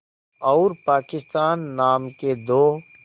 और पाकिस्तान नाम के दो